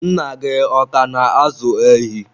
Nna gị ọ ka na-ázụ̀ ehi?